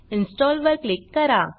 install वर click करा